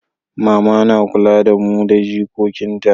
mama na kula da mu da jikokin ta